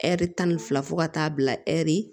Ɛri tan ni fila fo ka taa bila ɛri